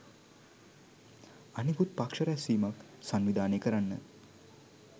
අනෙකුත් පක්ෂ රැස්වීමක් සංවිධානය කරන්න